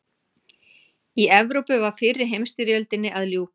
Í Evrópu var fyrri heimsstyrjöldinni að ljúka.